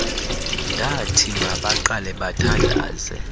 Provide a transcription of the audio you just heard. ndathi mabaqale bathandaze